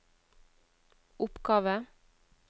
oppgave